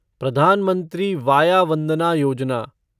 प्रधान मंत्री वाया वंदना योजना